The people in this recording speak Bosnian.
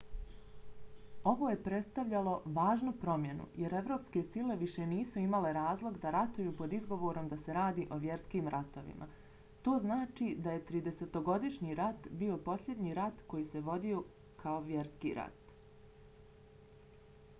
ovo je prestavljalo važnu promjenu jer evropske sile više nisu imale razlog da ratuju pod izgovorom da se radi o vjerskim ratovima. to znači da je tridesetogodišnji rat bio posljednji rat koji se vodio kao vjerski rat